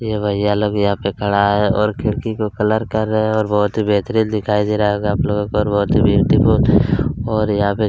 ये भैया लोग यहाँ पे खड़ा है और खिड़की को कलर कर रहे हैं और बहुत ही बेहतरीन दिखाई दे रहा होगा आप लोगों को और बहुत ही ब्यूटीफुल और यहाँ पे --